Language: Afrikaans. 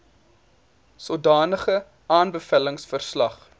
sodanige aanbevelings verslag